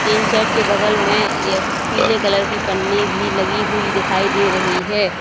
Tin shed के बगल में यह पीले कलर की पन्नी भी लगी हुई दिखाई दे रही है।